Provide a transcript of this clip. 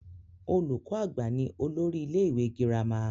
Olùkọ àgbà ni olórí ilé ìwé gírámà.